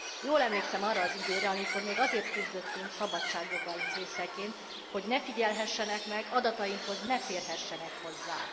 Jól emlékszem arra az időre, amikor még azért küzdöttünk szabadságjogaink részeként hogy ne figyelhessenek meg, adatainkhoz ne férhessenek hozzá.